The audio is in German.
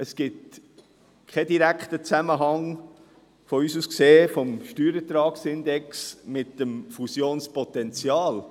Aus unserer Sicht gibt es keinen direkten Zusammenhang zwischen dem Steuerertragsindex und dem Fusionspotenzial.